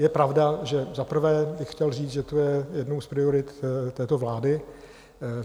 Je pravda, že za prvé bych chtěl říct, že to je jednou z priorit této vlády.